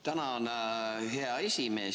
Tänan, hea esimees!